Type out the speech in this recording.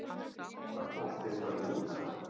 Var boltinn farinn út af?